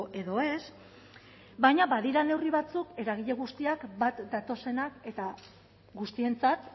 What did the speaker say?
edo ez baina badira neurri batzuk eragile guztiak bat datozenak eta guztientzat